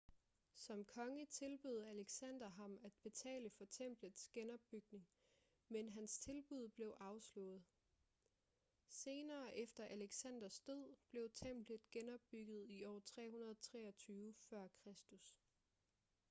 som konge tilbød alexander ham at betale for templets genopbygning men hans tilbud blev afslået senere efter alexanders død blev templet genopbygget i år 323 f.kr